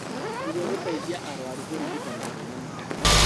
Nĩguo gũteithia arũaru kũrigita mathĩna mao